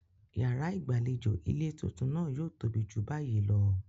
Yàrá ìgbàlejò ilé tuntun náà yóò tóbi ju báyìí lọ.